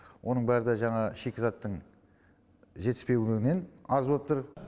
оның бәрі де жаңағы шикізаттың жетіспеуінен аз боп тұр